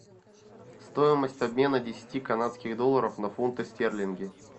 стоимость обмена десяти канадских долларов на фунты стерлинги